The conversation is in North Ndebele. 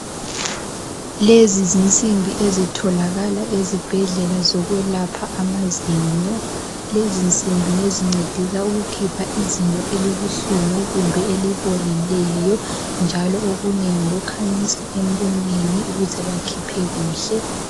Lezi zinsimbi ezitholakala ezibhedlela zokwelaphela amazinyo, lezi nsimbi ngezincedisa ukukhipha izinyo elibuhlungu kumbe elibolileyo njalo okunye ngokukhanyisa emlonyeni ukuze bakhiphe kuhle.